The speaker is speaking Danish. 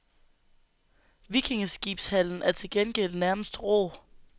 Vikingeskibshallen er til gengæld nærmest rå.